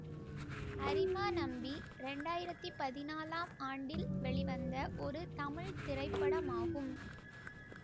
அரிமா நம்பி இரண்டு ஆயிரத்தி பதினாலாம் ஆண்டில் வெளிவந்த ஒரு தமிழ் திரைப்படமாகும்